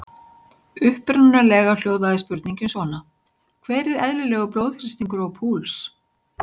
Upprunalega hljóðaði spurningin svona: Hver er eðlilegur blóðþrýstingur og púls?